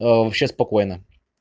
вообще спокойно